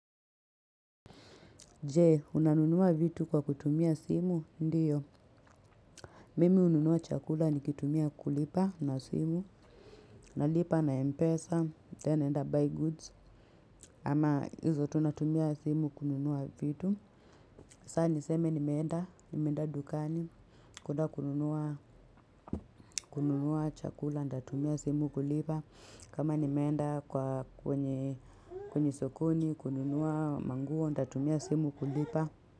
Jee, unanunua vitu kwa kutumia simu, ndiyo. Mimi ununua chakula nikitumia kulipa na simu. Nalipa na mpesa, then enda buy goods. Ama hizo tunatumia simu kununua vitu. Saa niseme nimenda, nimenda dukani, kuna kununua chakula, ntatumia simu kulipa. Kama nimenda kwa kwenye, kwenye sokoni, kununua manguo, ntatumia simu kulipa.